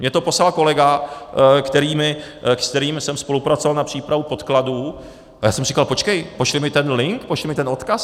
Mně to poslal kolega, s kterým jsem spolupracoval na přípravě podkladů, a já jsem říkal počkej, pošli mi ten link, pošli mi ten odkaz.